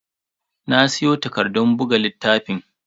Na siyo takardun buga littafan.